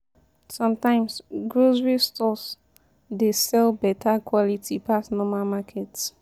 Sometimes, grocery stores dey sell beta quality pass normal market.